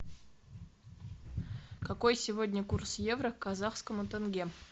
какой сегодня курс евро к казахскому тенге